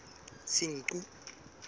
senqu